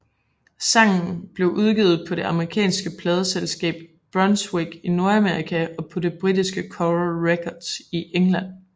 Sangen blev udgivet på det amerikanske pladeselskab Brunswick i Nordamerika og på det britiske Coral Records i England